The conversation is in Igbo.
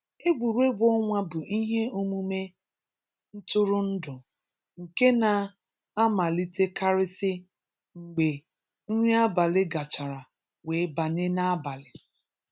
Egwuregwu ọnwa bụ ihe omume ntụrụndụ nke na-amalitekarịsị mgbe nri abalị gachara wee banye n’abalị.